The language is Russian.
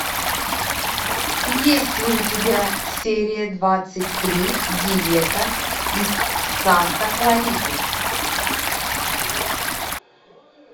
есть ли у тебя серия двадцать три диета из санта клариты